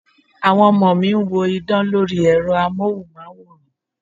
Àwọn ọmọ mi ń wo idán lori Ẹ̀rọ amohunmaworan.